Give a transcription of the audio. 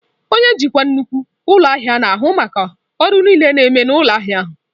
Onye njikwa nnukwu ụlọ ahịa na-ahụ maka ọrụ niile na-eme ụlọ ahịa ahụ.